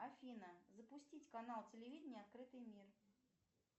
афина запустить канал телевидения открытый мир